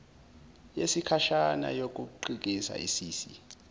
yesikhashana yokukhiqiza isisi